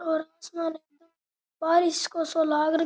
और आस्मां बारिश को सो लाग --